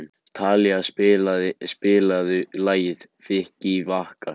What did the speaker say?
Talía, spilaðu lagið „Vikivakar“.